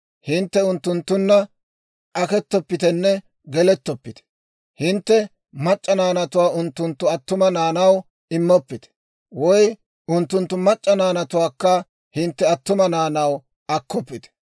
Hintte unttunttunna akettoppitenne gelettoppite. Hintte mac'c'a naanatuwaa unttunttu attuma naanaw immoppite. Woy unttunttu mac'c'a naanatuwaakka hintte attuma naanaw akkoppite.